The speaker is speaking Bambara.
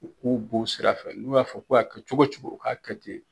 U b'o sira fɛ, n'u y'a fɔ ko ka kɛ cogo cogo o k'a kɛ ten.